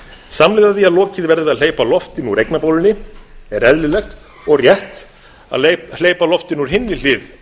samhliða því að lokið verði við að hleypa loftinu úr eignabólunni er eðlilegt og rétt að hleypa lofti úr hinni hlið